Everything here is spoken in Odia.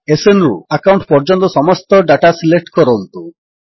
ଏସଏନ୍ ରୁ ଆକାଉଣ୍ଟ ପର୍ଯ୍ୟନ୍ତ ସମସ୍ତ ଡାଟା ସିଲେକ୍ଟ କରନ୍ତୁ